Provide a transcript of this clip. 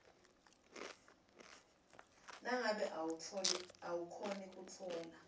nangabe awukhoni kutfola